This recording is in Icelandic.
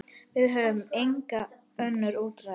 Við höfum engin önnur úrræði.